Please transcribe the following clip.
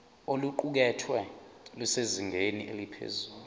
oluqukethwe lusezingeni eliphezulu